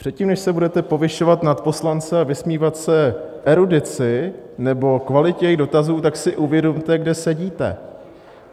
Předtím, než se budete povyšovat nad poslance a vysmívat se erudici nebo kvalitě jejich dotazů, tak si uvědomte, kde sedíte.